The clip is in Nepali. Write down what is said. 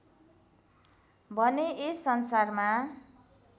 भने यस संसारमा